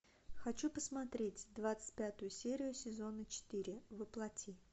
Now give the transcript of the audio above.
хочу посмотреть двадцать пятую серию сезона четыре во плоти